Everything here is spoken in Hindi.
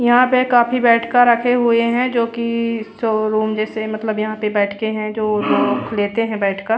यहाँ पे काफी बैठका रखे हुए है जो की स रूम जैसे मतलब यहाँ पे बैठ के है जो लोग लेते है बैठका--